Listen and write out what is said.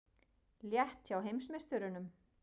Létt hjá heimsmeisturunum